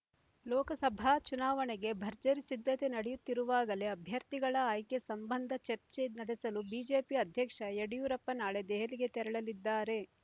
ಲೋಕಸಭಾ ಚುನಾವಣೆಗೆ ಭರ್ಜರಿ ಸಿದ್ಧತೆ ನಡೆದಿರುವಾಗಲೇ ಅಭ್ಯರ್ಥಿಗಳ ಆಯ್ಕೆ ಸಂಬಂಧ ಚರ್ಚೆ ನಡೆಸಲು ಬಿಜೆಪಿ ಅಧ್ಯಕ್ಷ ಯಡಿಯೂರಪ್ಪ ನಾಳೆ ದೆಹಲಿಗೆ ತೆರಳಲಿದ್ದಾರೆ